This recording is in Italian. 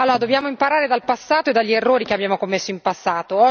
Dobbiamo imparare dal passato e dagli errori che abbiamo commesso in passato.